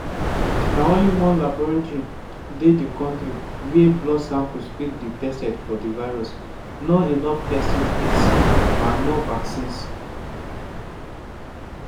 na only one laboratory dey di kontri wia blood samples fit dey tested for di virus no enough testing kits and no vaccines.